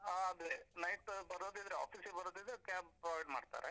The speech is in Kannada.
ಆ ಅದೆ, night ಬರೋದಿದ್ರೆ office ಗೆ ಬರೋದಿದ್ರೆ cab provide ಮಾಡ್ತಾರೆ.